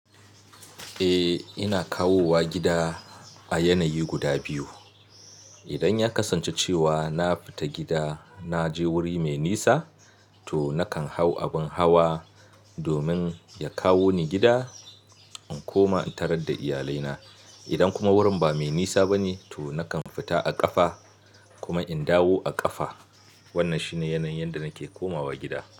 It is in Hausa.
Eh, ina kawowa gida a yanayi guda biyu. Idan ya kasance cewa na fita gida na je wuri mai nisa, to nakan hau abin hawa domin ya kawo ni gida in koma in tarar da iyalai na. Idan kuma wurin ba mai nisa bane, to nakan fita a ƙafa kuma in dawo a ƙafa. Wannan shine yanayin yadda nake komawa gida.